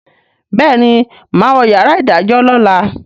béèni má wọ yàrá idajọ lọla.